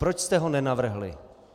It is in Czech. Proč jste ho nenavrhli?